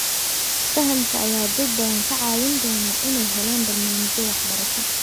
Fahamka ayaa dad badan ka caawin doona inay helaan barnaamijyo waxbarasho.